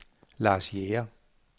Lars Jæger